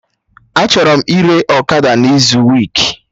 Achọrọ m ire ọkada n'izu week